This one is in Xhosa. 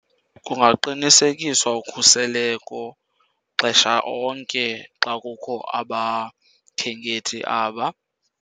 Kungaqinisekiswa ukhuseleko xesha onke xa kukho abakhenkethi aba.